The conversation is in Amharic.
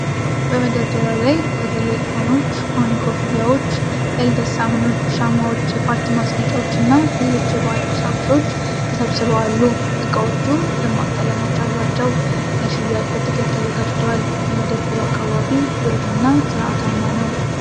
በመደርደሪያው ላይ በተለይ ኮኖች (ኮኒ ኮፍያዎች)፣ የልደት ሳህኖች፣ ሻማዎች፣ የፓርቲ ማስጌጫዎች እና ሌሎች የበዓል ቁሳቁሶች ተሰብስበው አሉ። ዕቃዎቹ ደማቅ ቀለሞች አሏቸው፤ ለሽያጭ በጥቅል ተዘጋጅተዋል። የመደብሩ አካባቢ ብሩህ እና ሥርዓታማ ነው።